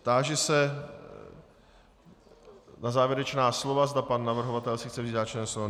Táži se na závěrečná slova, zda pan navrhovatel si chce vzít závěrečné slovo.